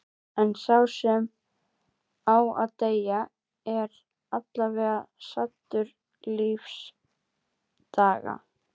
En sá sem á að deyja er aðallega saddur lífdaga.